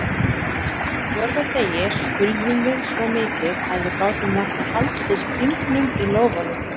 Á fjórða degi skulfum við svo mikið að við gátum varla haldið stingnum í lófanum.